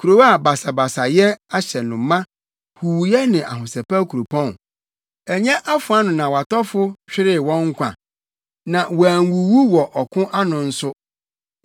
kurow a basabasayɛ ahyɛ no ma, huuyɛ ne ahosɛpɛw kuropɔn? Ɛnyɛ afoa ano na wʼatɔfo hweree wɔn nkwa, na wɔanwuwu wɔ ɔko ano nso.